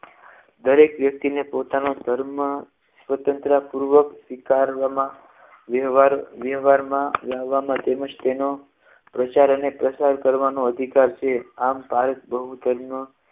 દરેક વ્યક્તિને પોતાનો ધર્મ સ્વતંત્ર પૂર્વક સ્વીકારવામાં વ્યવહાર માં રહેવા માટે તેમજ તેનો પ્રચાર અને પ્રસાર કરવાનો અધિકાર છે આમ ભારત બહુ ધર્મ